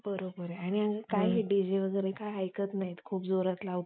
तेव्हा तुम्हाला काय म्हणायचं असतं? की सगळ्या जुन्या गोष्टी, वाईट गोष्टी सगळ्या जळून जाऊंदेत.